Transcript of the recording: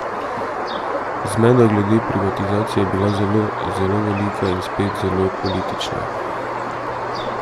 Zmeda glede privatizacije je bila zelo, zelo velika in, spet, zelo politična.